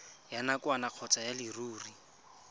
ya nakwana kgotsa ya leruri